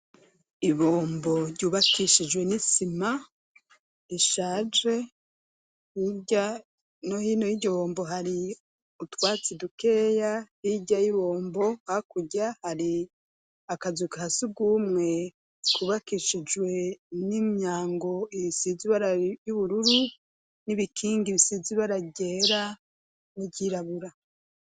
Ibombo ryubakishijwe n'isima ishaje hirya no hino y'igibombo hari utwatsi dukeya hijya yibombo hakujya hari akazu ka sugumwe kubakishijwe n'imyango ibisize y'ubururu n'ibikingi bisizi baragera n'iryirabura.